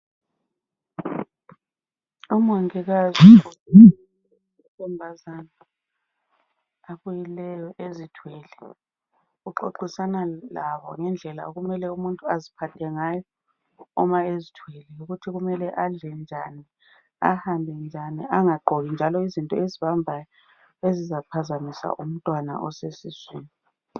Umongikazi amantombazane abuyileyo azithweleyo uxoxisana labo ngendlela okumele umuntu aziphathe ngayo uma ezithwele ukuthi kumele adle njani ahambe njani angagqoki njalo izinto ezibambayo ezizaphazamisa umntwana isesiswini